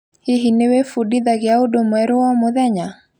Hihi nĩwĩbundithagia ũndũ mwerũ o mũthenya.